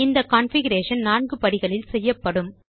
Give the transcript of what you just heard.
இந்த கான்ஃபிகரேஷன் நான்கு படிகளில் செய்யப்படும்